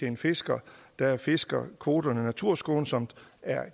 en fisker der fisker kvoterne naturskånsomt